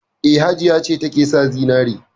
E, Hajiya ce take sa zinare.